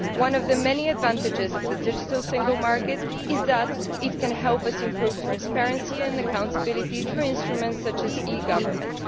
One of the many advantages of the digital single market is that it can help us improve transparency and accountability through instruments such as e government.